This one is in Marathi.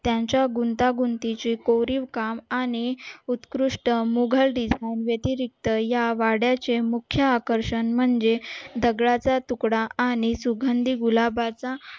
त्यांच्या गुंतागुंतीचे कोरीव काम आणि उत्कृष्ट मुघल म्हणजे या वाड्याचे हे आकर्षण म्हणजे दगडाचा तुकडा आणि गुलाबाचा